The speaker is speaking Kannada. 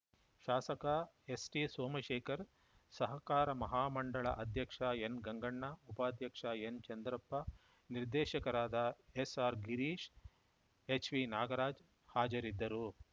ಶಾಸಕ ಎಸ್‌ಟಿಸೋಮಶೇಖರ್‌ ಸಹಕಾರ ಮಹಾಮಂಡಳ ಅಧ್ಯಕ್ಷ ಎನ್‌ಗಂಗಣ್ಣ ಉಪಾಧ್ಯಕ್ಷ ಎನ್‌ಚಂದ್ರಪ್ಪ ನಿರ್ದೇಶಕರಾದ ಎಸ್‌ಆರ್‌ಗಿರೀಶ್‌ ಎಚ್‌ವಿನಾಗರಾಜ್‌ ಹಾಜರಿದ್ದರು